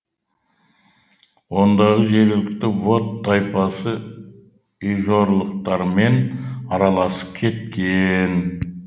ондағы жергілікті вод тайпасы ижорлықтармен араласып кеткен